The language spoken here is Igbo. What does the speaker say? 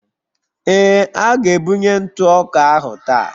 Ee, a ga-ebunye ntụ ọka ahụ taa